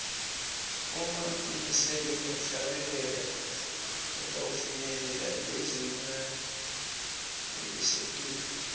uma utimisele ngekuhlabela utawufinyelela lizinga lelisetulu